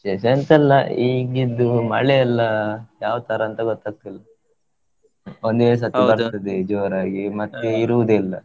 ವಿಶೇಷ ಎಂತ ಇಲ್ಲ ಇಗಿದ್ದು ಮಳೆ ಎಲ್ಲಾ ಯಾವ ತರ ಅಂತ ಗೊತ್ತಾಗ್ತಿಲ್ಲ, ಒಂದೇ ಸತಿ ಬರ್ತದೆ ಜೋರಾಗಿ, ಮತ್ತೆ ಇರುದೇ ಇಲ್ಲ.